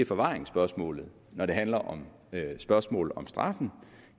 forvaringsspørgsmålet når det handler om spørgsmålet om straffen